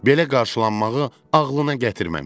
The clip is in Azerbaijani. Belə qarşılanmağı ağlına gətirməmişdi.